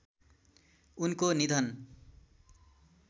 उनको निधन